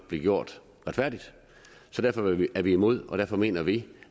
bliver gjort retfærdigt derfor er vi er vi imod og derfor mener vi